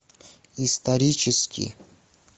исторический